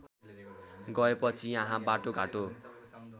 गएपछि यहाँ बाटोघाटो